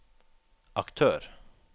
aktør